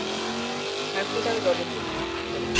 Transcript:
হ্যাঁ Smita আমি Rajat বলছি বলুন